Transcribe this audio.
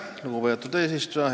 Lugupeetud eesistuja!